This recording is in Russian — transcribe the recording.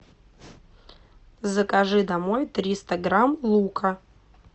закажи домой триста грамм лука